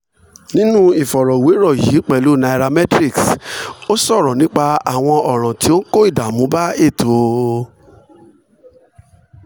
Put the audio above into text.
nínú ìfọ̀rọ̀wérò yìí pẹ̀lú nairametrics ó sọ̀rọ̀ nípa àwọn ọ̀ràn tó ń kó ìdààmú bá ètò